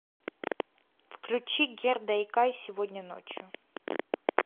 включи герда икай сегодняночью